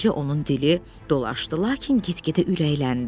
Əvvəlcə onun dili dolaşdı, lakin get-gedə ürəkləndi.